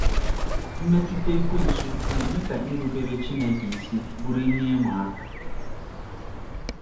Mmetụta Ekwensu na-eme ka irubere Chineke isi bụrụ ihe ịma aka